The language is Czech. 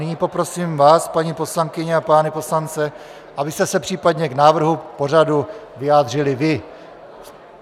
Nyní poprosím, vás, paní poslankyně a pány poslance, abyste se případně k návrhu pořadu vyjádřili vy.